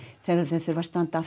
þegar þau þurfa að standa